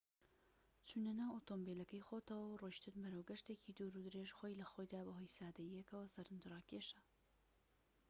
چونە ناو ئۆتۆمبیلەکەی خۆتەوە و ڕۆشتن بەرەو گەشتێکی دوورودرێژ خۆی لەخۆیدا بەهۆی سادەییەکەوە سەرنجڕاکێشە